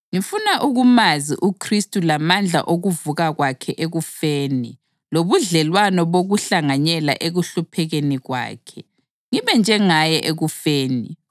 Ngifuna ukumazi uKhristu lamandla okuvuka kwakhe ekufeni lobudlelwano bokuhlanganyela ekuhluphekeni kwakhe, ngibe njengaye ekufeni,